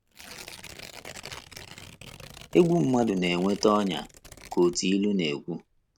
“ Egwu mmadụ na - eweta ọnyà, ” ka otu ilu na - ekwu.